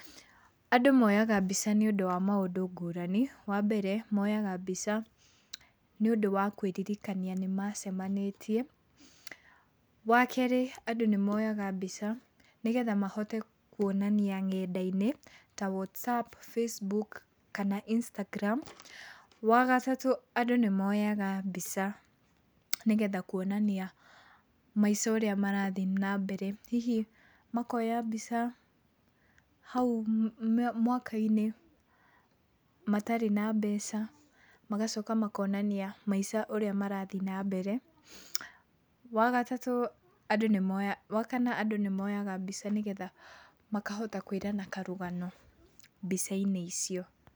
Andũ moyaga mbica nĩũndũ wa maũndũ ngũrani. Wambere moyaga mbica nĩ ũndũ wa kwĩririkania nĩmacemanĩtie. Wakerĩ andũ nĩ moyaga mbica nĩgetha mhote kuoinania ngenda-inĩ ta WhatsApp, Facebook kana Instagram. Wagatatũ andũ nĩ moyaga mbica nĩgetha kuonania maica ũrĩa marathiĩ na mbere. Hihi makoya mbica hau mwaka-inĩ matarĩ na mbeca, magacoka makonania maica ũrĩa marathiĩ na mbere. Wagatatũ andũ nĩ moyaga. Wakana andũ nĩ moyaga mbica nĩgetha makahota kwĩrana karũgano mbica-inĩ icio.